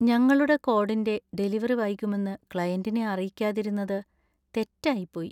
ഞങ്ങളുടെ കോഡിന്‍റെ ഡെലിവറി വൈകുമെന്ന് ക്ലയൻ്റിനെ അറിയിക്കാതിരുന്നത് തെറ്റായിപ്പോയി.